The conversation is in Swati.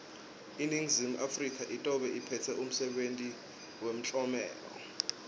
iningizimu afrika itobe iphetse umsebenti wemtlomelo